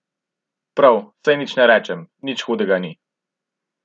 Prav, saj nič ne rečem, nič hudega ni.